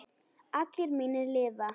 Allir mínir lifa.